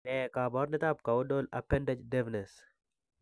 Ne kaabarunetap Caudal appendage deafness?